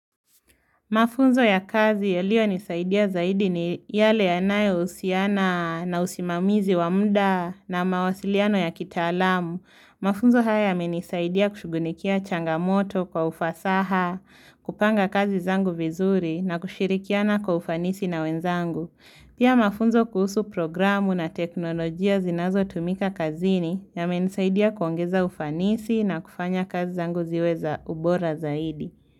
Mafunzo ya kazi yaliyonisaidia zaidi ni yale yanayohusiana na usimamizi wa muda na mawasiliano ya kitaalamu. Mafunzo haya yamenisaidia kushughulikia changamoto kwa ufasaha, kupanga kazi zangu vizuri na kushirikiana kwa ufanisi na wenzangu. Pia mafunzo kuhusu programu na teknolojia zinazotumika kazini yamenisaidia kuongeza ufanisi na kufanya kazi zangu ziwe za ubora zaidi.